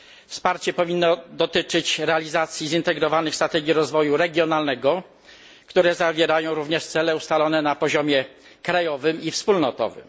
Wsparcie powinno dotyczyć realizacji zintegrowanych strategii rozwoju regionalnego, które zawierają również cele ustalone na poziomie krajowym i wspólnotowym.